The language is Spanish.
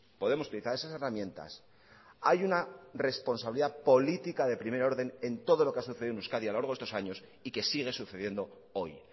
podemos utilizar esas herramientas hay una responsabilidad política de primer orden en todo lo que ha sucedido en euskadi a lo largo de estos años y que siguen sucediendo hoy